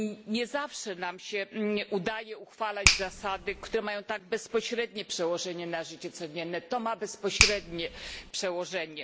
Nie zawsze udaje się nam uchwalać zasady, które mają tak bezpośrednie przełożenie na życie codzienne to ma bezpośrednie przełożenie.